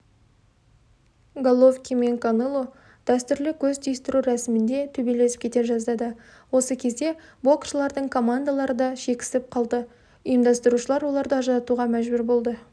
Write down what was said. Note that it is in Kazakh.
головкин мен канело дәстүрлі көз түйістіру рәсімінде төбелесіп кете жаздады осы кезде боксшылардың командалары дашекісіп қалды ұйымдастырушылар оларды ажыратуға мәжбүр болды